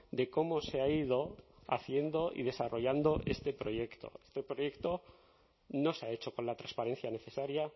de cómo se ha ido haciendo y desarrollando este proyecto este proyecto no se ha hecho con la transparencia necesaria